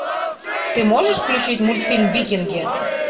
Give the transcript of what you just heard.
ты можешь включить мультфильм викинги